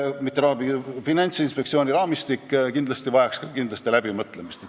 Finantsinspektsiooni raamistik vajaks kindlasti läbimõtlemist.